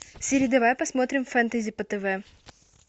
сири давай посмотрим фэнтези по тв